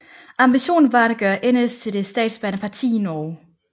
Ambitionen var at gøre NS til det statsbærende parti i Norge